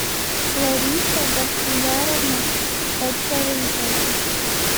лариса бахтияровна подкорытова